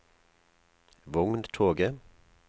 vogntoget